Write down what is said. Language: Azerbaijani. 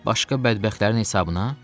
Başqa bədbəxtlərin hesabına?